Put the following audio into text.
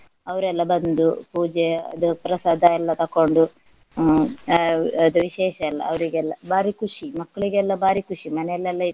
ಅವ್ರೆಲ್ಲ ಬಂದು ಪೂಜೆ ಅದು ಪ್ರಸಾದ ಎಲ್ಲ ತಕೊಂಡು ಹ್ಮ್ ಹಾ ಅದು ವಿಶೇಷ ಎಲ್ಲ ಅವ್ರಿಗೆಲ್ಲ ಭಾರಿ ಖುಷಿ. ಮಕ್ಕಳಿಗೆಲ್ಲ ಭಾರಿ ಖುಷಿ ಮನೆಯಲ್ಲಿ ಎಲ್ಲ ಇಟ್ರೆ.